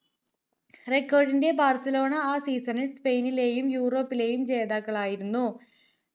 record ന്റെ Barcelona ആ season സ്പെയിനിലേയും യൂറോപ്പിലേയും ജേതാക്കളായിരുന്നു